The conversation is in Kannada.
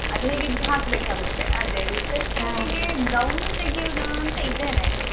ಅದು ಹೇಗಿದ್ರು ಹಾಕ್ಬೇಕ್ ಆಗತ್ತೆ ಅದೇ reception ಗೆ gown ತೆಗಿಯುದಾ ಅಂತ ಇದ್ದೇನೆ.